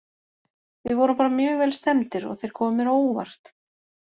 Við vorum bara mjög vel stemmdir og þeir komu mér á óvart.